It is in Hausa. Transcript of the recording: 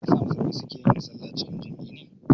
Me ya sa musulmai su ke yin sallah a cikin jam'i ne?